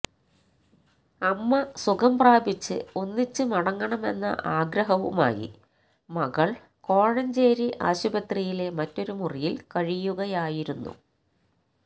അമ്മ സുഖം പ്രാപിച്ച് ഒന്നിച്ച് മടങ്ങണമെന്ന ആഗ്രഹവുമായി മകള് കോഴഞ്ചേരി ആശുപത്രിയിലെ മറ്റൊരു മുറിയില് കഴിയുകയായിരുന്നു